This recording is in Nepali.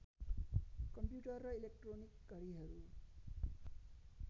कम्प्युटर र इलेक्ट्रोनिक घडिहरू